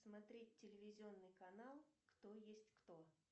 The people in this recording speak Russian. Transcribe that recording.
смотреть телевизионный канал кто есть кто